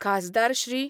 खासदार श्री.